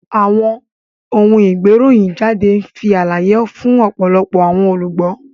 Awọn oun-igberohinjade nfi alaye fun ọpọlọpọ awọn olugbo.